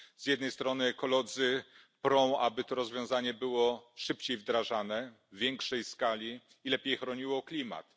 Z jednej strony ekolodzy prą, aby to rozwiązanie było wdrażane szybciej i w większej skali, i lepiej chroniło klimat.